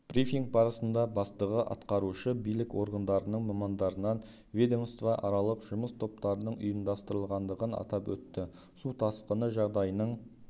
брифинг барысында бастығы атқарушы билік органдарының мамандарынан ведомствоаралық жұмыс топтарының ұйымдастырылғандығын атап өтті су тасқыны жағдайының